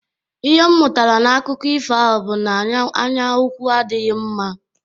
Ihe m mụtara n'akụkọ ifo ahụ bụ na anyaukwu adịghị mma.